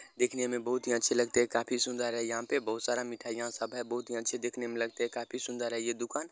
दिखने में बहुत ही अच्छे लगते है काफी सुंदर है यहां पे बहुत सारा मिठाईयां सब है बहुत ही अच्छे देखने में लगते हैं काफी सुंदर है ये दुकान।